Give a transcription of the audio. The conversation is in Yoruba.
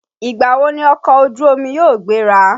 Ìgbà wo ni ọkọ̀ ojú omi yóò gbéra?